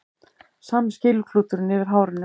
Sami skýluklúturinn yfir hárinu.